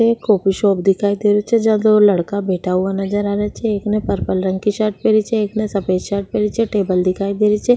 एक coffee shop दिखाई दे रही छे जहा दो लड़का बैठा नजर आ रेहा छे एक ने पर्पल रंग की शर्ट पहनी छे एक ने सफ़ेद शर्ट पहनी छे टेबल दिखाई दे री छे।